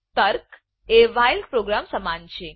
તર્ક એ while while program સમાન છે